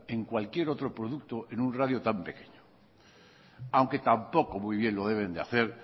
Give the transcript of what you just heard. en cualquier otro producto en un radio tan pequeño aunque tampoco muy bien lo deben de hacer